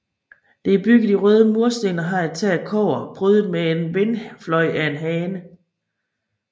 Det er bygget i røde mursten og har et tag af kobber prydet med en vindfløj af en hane